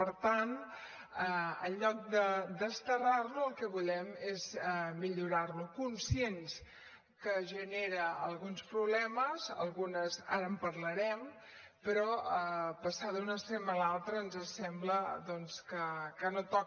per tant en lloc de desterrar lo el que volem és millorar lo conscients que genera alguns problemes ara en parlarem però passar d’un extrem a l’altre ens sembla doncs que no toca